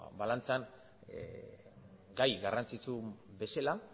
balantzan gai garrantzitsu bezala